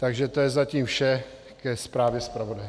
Takže to je zatím vše ke zprávě zpravodaje.